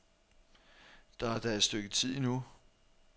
Der er da et stykke tid endnu.